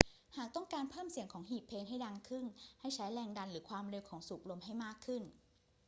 หากต้องการเพิ่มเสียงของหีบเพลงให้ดังขึ้น ให้ใช้แรงดันหรือความเร็วของที่สูบลมให้มากขึ้น